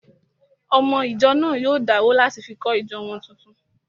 Ọmọ ìjọ náà yóò dáwó láti fi kọ́ ìjọ wọn tuntun